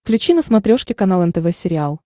включи на смотрешке канал нтв сериал